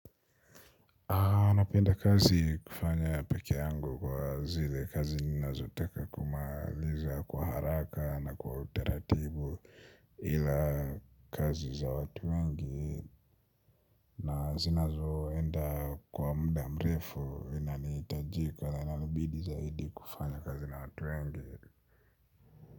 Napenda kazi kufanya peke yangu kwa zile kazi ninazotaka kumaliza kwa haraka na kwa utaratibu ila kazi za watu wengi na zinazoenda kwa muda mrefu inanihitajika na inanibidi zaidi kufanya kazi na watu wengi.